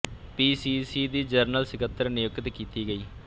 ਪੀ C C ਦੀ general ਸੱਕਤਰ ਨਿਯੁਕਤ ਕੀਤੀ ਗਈ